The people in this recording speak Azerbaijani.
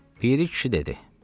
Piri kişi dedi: